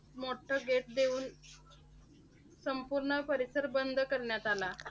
मोठ्ठे gate देऊन संपूर्ण परिसर बंद करण्यात आला.